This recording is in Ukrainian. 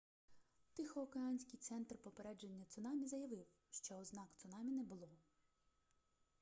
тихоокеанський центр попередження цунамі заявив що ознак цунамі не було